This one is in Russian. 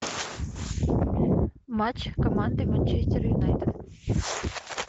матч команды манчестер юнайтед